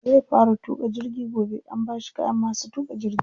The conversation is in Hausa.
Zai fara tuƙa jirgi gobe, an bashi kayan masu tuƙa jirgi.